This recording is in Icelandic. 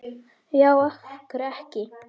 Já, af hverju ekki?